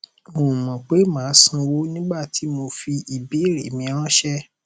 n ò mọ pé màá sanwó nígbà tí mo fi ìbéèrè mi ráńṣẹ